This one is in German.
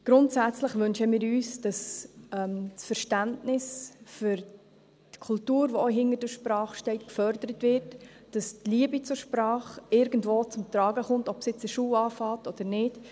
Grundsätzlich wünschen wir uns, dass das Verständnis für die Kultur, die auch hinter der Sprache steht, gefördert wird, dass die Liebe zur Sprache irgendwo zum Tragen kommt, ob das nun in der Schule beginnt oder nicht.